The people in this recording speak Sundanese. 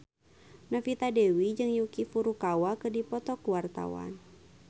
Novita Dewi jeung Yuki Furukawa keur dipoto ku wartawan